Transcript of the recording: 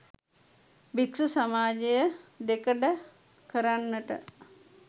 භික්‍ෂු සමාජය දෙකඩ කරන්නට